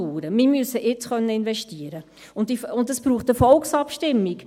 Wir müssen investieren können, und dies braucht eine Volksabstimmung.